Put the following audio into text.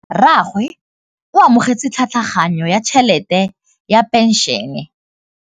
Rragwe o amogetse tlhatlhaganyô ya tšhelête ya phenšene.